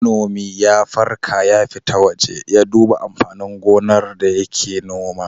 Manomi ya farka ya fita waje ya duba amfanin gonar da yake noma.